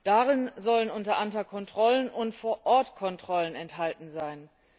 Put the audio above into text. Darin sollen unter anderem Kontrollen und Vor Ort Kontrollen enthalten sein.